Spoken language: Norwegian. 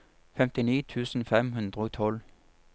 femtini tusen fem hundre og tolv